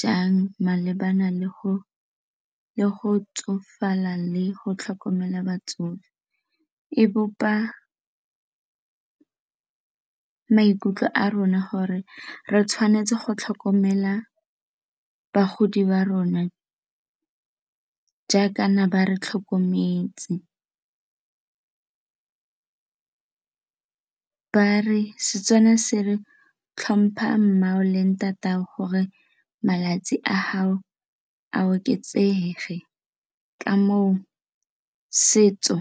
jang malebana le go le go tsofala le go tlhokomela batsofe, e bopa maikutlo a rona gore re tshwanetse go tlhokomela bagodi ba rona jaaka na ba re tlhokometse. Setswana se re tlhompha mma'ago le ntata'ago gore malatsi a gao a oketsege ke ka moo setso